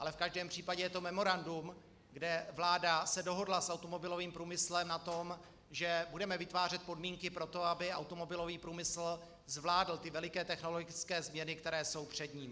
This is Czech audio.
Ale v každém případě je to memorandum, kde se vláda dohodla s automobilovým průmyslem na tom, že budeme vytvářet podmínky pro to, aby automobilový průmysl zvládl ty veliké technologické změny, které jsou před ním.